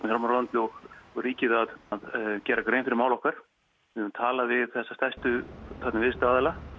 fjármálaráðuneytið og ríkið að gera grein fyrir máli okkar við höfum tala við þessa stærstu viðskiptaaðila